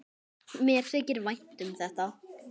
Mér þykir vænt um þetta.